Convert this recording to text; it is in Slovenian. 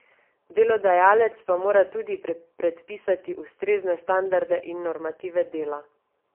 Delodajalec pa mora tudi predpisati ustrezne standarde in normative dela.